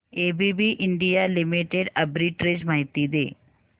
ABB India limited arbitrage माहिती दे